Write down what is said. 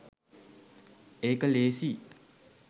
ඒක ලේසියි